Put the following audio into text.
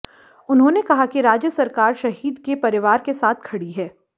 उन्होंने कहा कि राज्य सरकार शहीद के परिवार के साथ खड़ी है